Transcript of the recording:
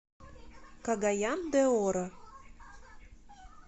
кагаян де оро